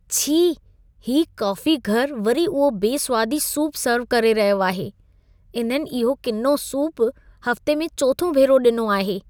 छी! हीउ काफ़ीघर वरी उहो बेस्वादी सूप सर्व करे रहियो आहे। इन्हनि इहो किनो सूप हफ्ते में चोथों भेरो ॾिनो आहे।